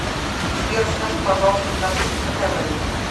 сбер скажи пожалуйста в норвегии какая валюта